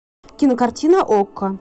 кинокартина окко